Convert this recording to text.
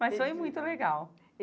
Mas foi muito legal.